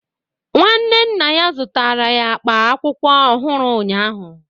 Nwanne nna ya zụtara ya akpa akwụkwọ ọhụrụ ụnyahụ